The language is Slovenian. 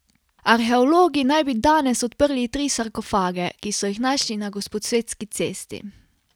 Arheologi naj bi danes odprli tri sarkofage, ki so jih našli na Gosposvetski cesti.